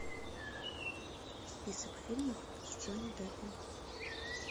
список фильмов с джонни деппом